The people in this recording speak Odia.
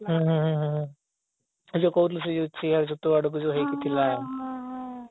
ହୁଁ ହୁଁ ହୁଁ ତୁ ଯୋଉ କହୁଥିଲୁ ସେଇ ଯୋଉ chair ଯୋଉ ତୋ ଆଡେ ହେଇକି ଥିଲା